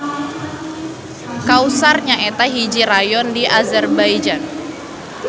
Qusar nyaeta hiji rayon di Azerbaijan.